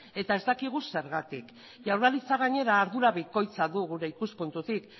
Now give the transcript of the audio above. eta ez dakigu zergatik jaurlaritza gainera ardura bikoitza du gure ikuspuntutik